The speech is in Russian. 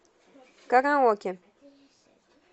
караоке